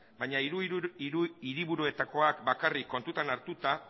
baina hiru hiriburuetakoak bakarrik kontutan hartuta